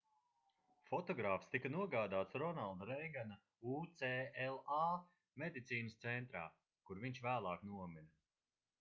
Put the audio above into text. fotogrāfs tika nogādāts ronalda reigana ucla medicīnas centrā kur viņš vēlāk nomira